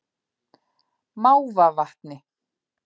Mávavatni